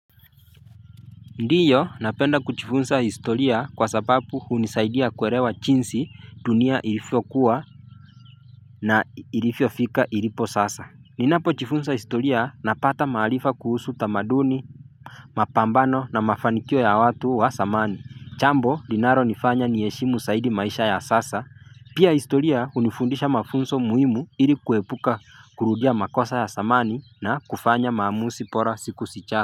Ndiyo napenda kuchifunsa istoria kwa sababu unisaidia kuerewa chinsi dunia ilifio kuwa na ilifio fika ilipo sasa ninapo chifunsa istoria napata mahalifa kuhusu tamaduni mapambano na mafanikio ya watu wa samani chambo linaro nifanya nieshimu saidi maisha ya sasa pia istoria unifundisha mafunso muhimu ili kuepuka kurudia makosa ya samani na kufanya maamusi pora siku sicha.